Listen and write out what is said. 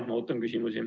Ootan küsimusi.